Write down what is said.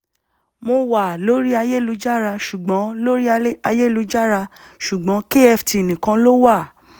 mo wá a lórí ayélujára ṣùgbọ́n lórí ayélujára ṣùgbọ́n kft nìkan ló wà